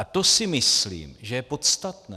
A to si myslím, že je podstatné.